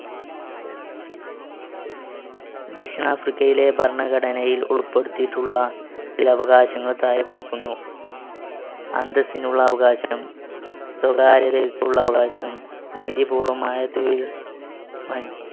ദക്ഷിണാഫ്രിക്കയിലെ ഭരണഘടനയിൽ ഉൾപ്പെടുത്തിയിട്ടുള്ള ചില അവകാശങ്ങൾ താഴെ കൊടുക്കുന്നു. അന്തസ്സിനുള്ള അവകാശം, സ്വകാര്യതയ്ക്കുള്ള അവകാശം, നീതിപൂർവ്വമായ തൊഴിൽ മ~